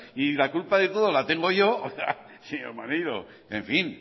y la culpa de todo la tengo yo oiga señor maneiro en fin